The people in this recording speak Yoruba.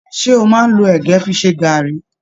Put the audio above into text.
Ṣe o máa n lọ ẹgẹ fí ṣe garri?